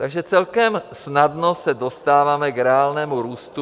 Takže celkem snadno se dostáváme k reálnému růstu...